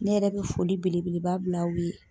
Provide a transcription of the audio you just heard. Ne yɛrɛ bɛ foli belebeleba bil'aw ye.